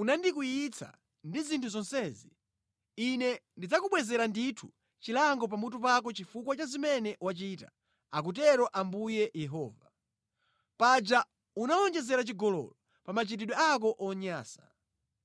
unandikwiyitsa ndi zinthu zonsezi, Ine ndidzakubwezera ndithu chilango pamutu pako chifukwa cha zimene wachita, akutero Ambuye Yehova. Paja unawonjezera chigololo pa machitidwe ako onyansa.